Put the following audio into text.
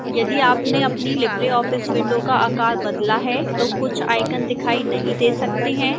यदि आपने अपनी libreoffice window का आकार बदला है तो कुछ icons दिखाई नहीं दे सकते हैं